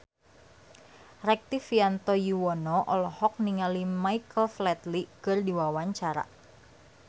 Rektivianto Yoewono olohok ningali Michael Flatley keur diwawancara